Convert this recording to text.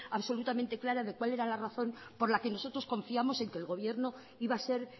absolutamente clara de cuál era la razón por la que nosotros confiamos en que el gobierno iba a ser